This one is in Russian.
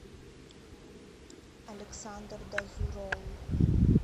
александр дазурол